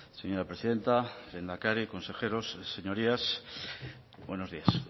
señora presidenta lehendakari consejeros señorías buenos días